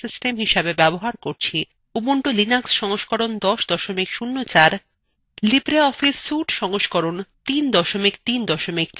এখানে আমরা operating system হিসাবে ব্যবহার করছি